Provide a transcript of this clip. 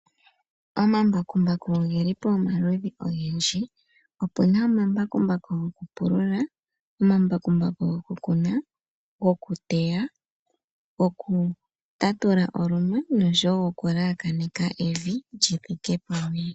Omambakumbaku ogeli pamaludhi ogendji opuna omambakumbaku goku pulula, gokuteya gokutatula oluma noshowo gokulelakanitha evi lyithike pamwe.